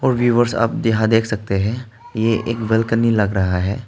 Viewers आप यहां देख सकते हैं ये एक बालकनी लग रहा है।